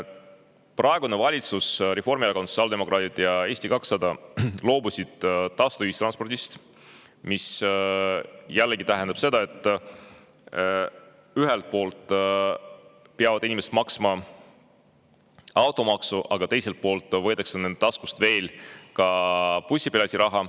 Praegune valitsus – Reformierakond, sotsiaaldemokraadid ja Eesti 200 – loobus tasuta ühistranspordist, mis jällegi tähendab seda, et ühelt poolt peavad inimesed maksma automaksu, aga teiselt poolt võetakse nende taskust veel ka bussipileti raha.